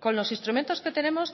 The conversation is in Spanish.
con los instrumentos que tenemos